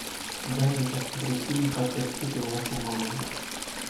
дай мне посмотреть фильм как я встретил вашу маму